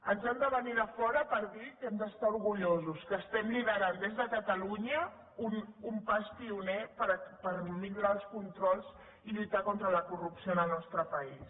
ens han de venir de fora per dir que hem d’estar orgullosos que liderem des de catalunya un pas pioner per millorar els controls i lluitar contra la corrupció en el nostre país